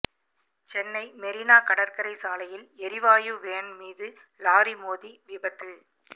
சென்னை மெரினா கடற்கரை சாலையில் எரிவாயு வேன் மீது லாரி மோதி விபத்து